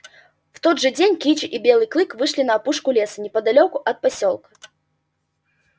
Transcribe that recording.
в тот же день кичи и белый клык вышли на опушку леса неподалёку от посёлка